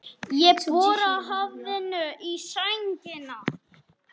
Ég bora höfðinu í sængina.